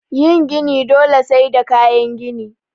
Yin gini dole sai da kayan gini